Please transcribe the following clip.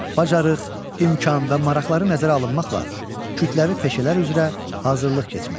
Bacarıq, imkan və maraqları nəzərə alınmaqla kütləvi peşələr üzrə hazırlıq keçmək.